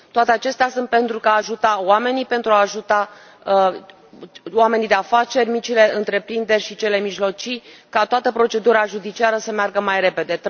Toate acestea sunt pentru a ajuta oamenii, pentru a ajuta oamenii de afaceri, micile întreprinderi și cele mijlocii ca toată procedura judiciară să meargă mai repede.